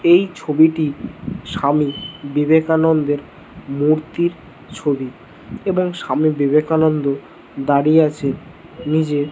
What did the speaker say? এই ছবিটি স্বামী বিবেকানন্দের মূর্তির ছবি এবং স্বামী বিবেকানন্দ দাঁড়িয়ে আছে নিজের --